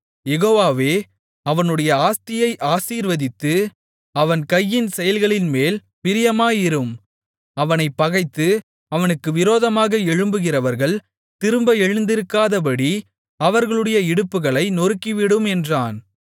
யெகோவாவே அவனுடைய ஆஸ்தியை ஆசீர்வதித்து அவன் கையின் செயல்களின்மேல் பிரியமாயிரும் அவனைப் பகைத்து அவனுக்கு விரோதமாக எழும்புகிறவர்கள் திரும்ப எழுந்திருக்காதபடி அவர்களுடைய இடுப்புகளை நொறுக்கிவிடும் என்றான்